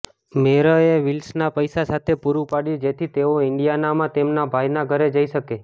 મરેએ વિલ્સનને પૈસા સાથે પૂરુ પાડ્યું જેથી તેઓ ઇન્ડિયાનામાં તેમના ભાઈના ઘરે જઈ શકે